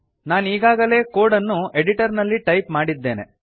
ನಾನೀಗಾಗಲೇ code ಅನ್ನು editor ನಲ್ಲಿ type ಮಾಡಿದ್ದೇನೆ